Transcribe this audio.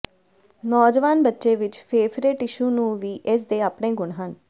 ਨੌਜਵਾਨ ਬੱਚੇ ਵਿੱਚ ਫੇਫੜੇ ਟਿਸ਼ੂ ਨੂੰ ਵੀ ਇਸ ਦੇ ਆਪਣੇ ਗੁਣ ਹਨ